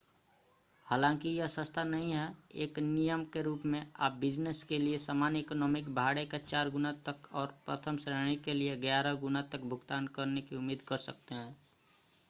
हालांकि यह सस्ता नहीं है एक नियम के रूप में आप बिज़नस के लिए सामान्य इकॉनमी भाड़े का चार गुना तक और प्रथम श्रेणी के लिए ग्यारह गुना तक भुगतान करने की उम्मीद कर सकते हैं